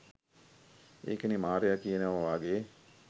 ඒකනේ මාරයා කියනවා වගේ